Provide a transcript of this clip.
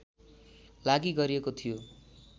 लागि गरिएको थियो